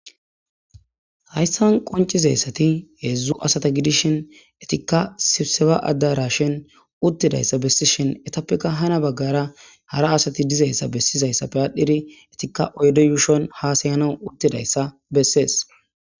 Hayisan qoncizayisati hedzdzu asata gidishin etika sibseba adarashen utidayisa bessishin etappeka hana bagara hara asati dizayisa besizayisappe adhidi etika oyide yushon hasayanawu utidayisa besees